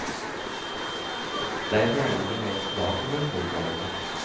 Derfra er det ingen vei tilbake for polfarerne.